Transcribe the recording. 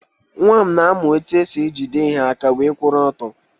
Nwa m na-amụ etu e si ejide ihe aka wee kwụrụ ọtọ